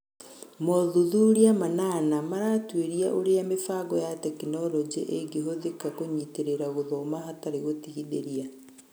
Mothuthuria manana maratũĩria ũrĩa mĩbango ya tekinoronjĩ ĩngĩhũthĩka kũnyitĩrĩra gũthoma hatarĩ gũtigithĩria.